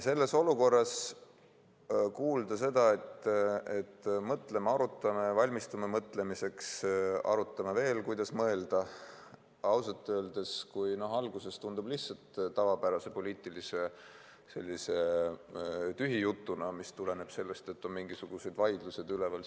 Selles olukorras kuulda seda, et mõtleme, arutame, valmistume mõtlemiseks, arutame veel, kuidas mõelda – ausalt öeldes alguses tundub see lihtsalt tavapärase poliitilise tühijutuna, mis tuleneb sellest, et on mingisugused vaidlused üleval.